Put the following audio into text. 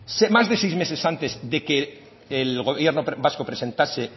más de seis meses antes de que el gobierno vasco presentase